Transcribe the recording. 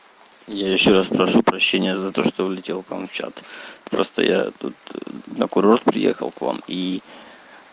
я ещё раз прошу прощения за то что влетел к вам в чат просто я тут на курорт приехал к вам и